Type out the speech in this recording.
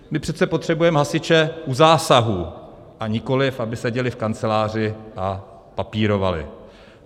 My přece potřebujeme hasiče u zásahu, a nikoliv aby seděli v kanceláři a papírovali.